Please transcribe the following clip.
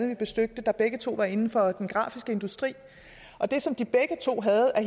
vi besøgte der begge to var inden for den grafiske industri og det som de begge to havde at